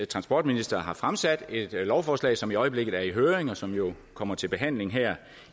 transportministeren har fremsat et lovforslag som i øjeblikket er i høring og som jo kommer til behandling her